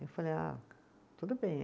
Eu falei, ah, tudo bem.